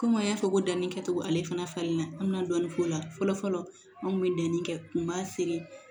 Komi an y'a fɔ ko danni kɛcogo ale fana falenna an bɛ na dɔɔni k'o la fɔlɔ fɔlɔ an kun bɛ danni kɛ kun b'a feere